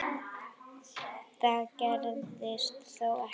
Það gerðist þó ekki.